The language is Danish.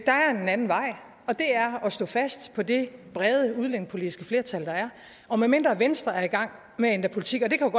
anden vej og det er at stå fast på det brede udlændingepolitiske flertal der er og medmindre venstre er i gang med at ændre politik og det kan